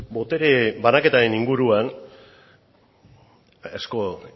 botere banaketaren inguruan asko